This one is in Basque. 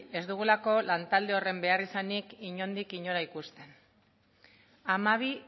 ez dugulako lan talde horren behar izanik inondik inora ikusten hamabi